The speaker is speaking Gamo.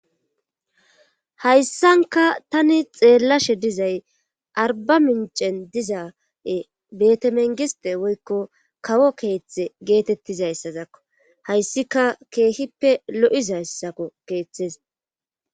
hayssanka tani xeellashe dizay arba mincen dizaae betemengiste woykko kawo keeththe geetettizayssazakko hayssika keehippe lo7izhayssako keeththes